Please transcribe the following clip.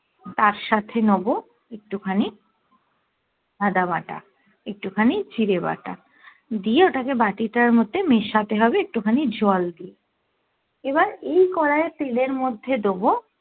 তার সাথে নেবো একটু খানি আদাবাটা, একটু খানি জিরে বাটা দিয়ে ওটাকে বাটিটার মধ্যে মেশাতে হবে একটু খানি জল দিয়ে এবার এই কোরাই এর তেল এর মধ্যে দেব